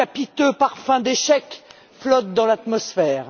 Un capiteux parfum d'échec flotte dans l'atmosphère.